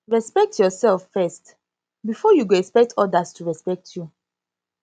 respekt urself first bifor yu go expect odas to respekt yu